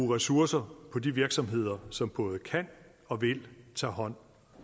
ressourcer på de virksomheder som både kan og vil tage hånd